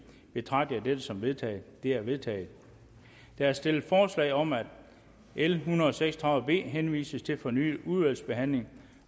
betragter jeg dette som vedtaget det er vedtaget der er stillet forslag om at l en hundrede og seks og tredive b henvises til fornyet udvalgsbehandling